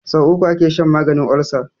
So uku ake shan maganin olsa